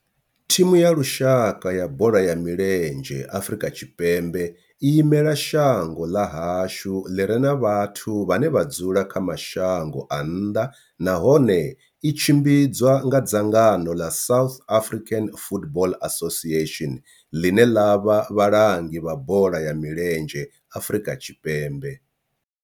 Thimu ya lushaka ya bola ya milenzhe ya Afrika Tshipembe i imela shango ḽa hashu ḽi re na vhathu vhane vha dzula kha mashango a nnḓa nahone tshi tshimbidzwa nga dzangano ḽa South African Football Association, ḽine ḽa vha vhalangi vha bola ya milenzhe Afrika Tshipembe.